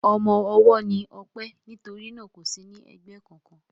Ọmọ ọwọ́ ni Ọpẹ́ nítorí náà kò sí ní ẹgbẹ́ kankan.